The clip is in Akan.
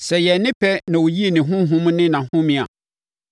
Sɛ ɛyɛɛ ne pɛ na ɔyii ne Honhom ne nʼahome a,